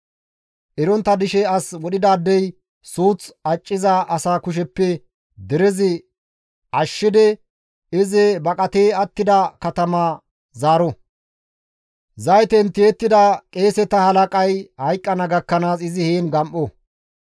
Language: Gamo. Erontta dishe as wodhidaadey suuth acciza asa kusheppe derezi ashshidi izi baqati attida katama zaaro; zayten tiyettida qeeseta halaqay hayqqana gakkanaas izi heen gam7o.